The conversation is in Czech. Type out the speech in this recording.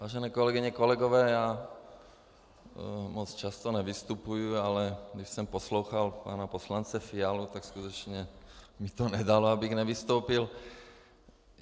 Vážené kolegyně, kolegové, já moc často nevystupuji, ale když jsem poslouchal pana poslance Fialu, tak skutečně mi to nedalo, abych nevystoupil.